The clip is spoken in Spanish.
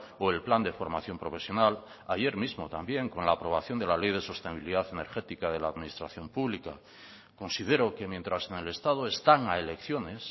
o el plan de formación profesional ayer mismo también con la aprobación de la ley de sostenibilidad energética de la administración pública considero que mientras en el estado están a elecciones